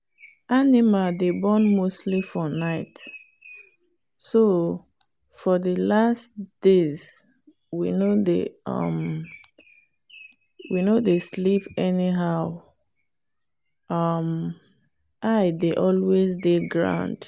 animal day born mostly for nightso for the last days we no day um sleep anyhow um eye day always day ground.